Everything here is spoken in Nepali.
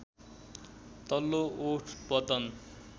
तल्लो ओठ पतन